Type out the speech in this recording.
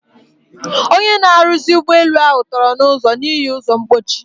Ọnye na-arụzi ụgbọ elu ahu tọrọ na ụzo n'ihi ụzọ mkpochi.